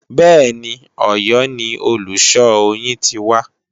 Bẹ́ẹ̀ni, Òyọ́ ni olùṣọ́ oyin ti wá